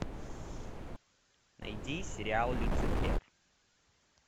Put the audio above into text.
найди сериал люцифер